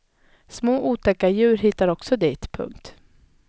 Små otäcka djur hittar också dit. punkt